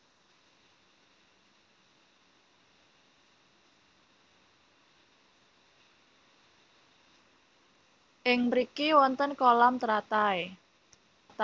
Ing mriki wonten kolam teratai